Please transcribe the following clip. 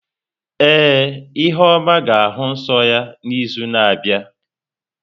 Ee, ihuoma ga-ahụ nsọ ya n’izu na-abịa.